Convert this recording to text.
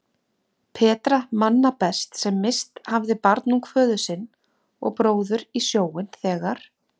Petra manna best sem misst hafði barnung föður sinn og bróður í sjóinn þegar